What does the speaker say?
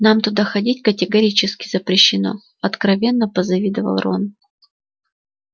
нам туда ходить категорически запрещено откровенно позавидовал рон